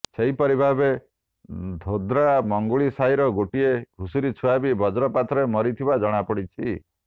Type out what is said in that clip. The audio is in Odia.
ସେହିପରି ଭାବେ ଧୋଡ୍ରା ମଙ୍ଗୁଳି ସାହିର ଗୋଟିଏ ଘୁଷୁରି ଛୁଆ ବି ବଜ୍ରପାତରେ ମରିଥିବା ଜଣାପଡ଼ିଛି